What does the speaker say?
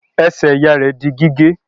Ẹsẹ̀ ìyá rẹ̀ di gígé.